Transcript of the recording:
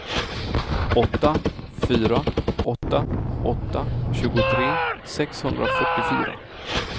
åtta fyra åtta åtta tjugotre sexhundrafyrtiofyra